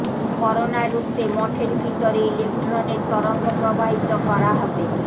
corona রুখতে মঠের ভিতরে ইলেকট্রনের তরঙ্গ প্রবাহিত করা হবে